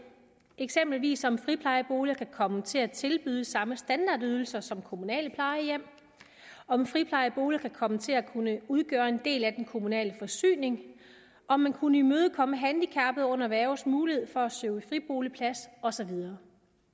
eksempelvis om friplejeboliger kan komme til at tilbyde samme standardydelser som kommunale plejehjem om friplejeboliger kan komme til at udgøre en del af den kommunale forsyning om man kunne imødekomme handicappede under værges mulighed for at søge friboligplads og så videre